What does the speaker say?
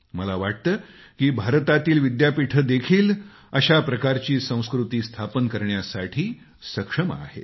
मला वाटतं की भारतातील विद्यापीठे देखील अशा प्रकारची संस्कृती स्थापन करण्यासाठी सक्षम आहेत